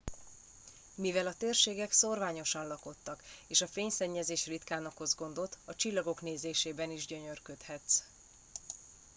mivel a térségek szórványosan lakottak és a fényszennyezés ritkán okoz gondot a csillagok nézésében is gyönyörködhetsz